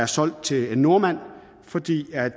solgt til en nordmand fordi der